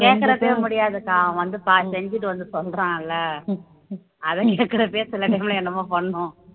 கேட்கறப்பவே முடியாதுக்கா அவன் வந்து ப செஞ்சுட்டு வந்து சொல்றான்ல அதை கேக்குற சில time ல என்னமோ பண்ணும்